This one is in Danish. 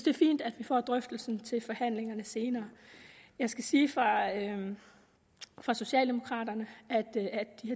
er fint at vi får drøftelsen til forhandlingerne senere jeg skal sige fra socialdemokraterne at de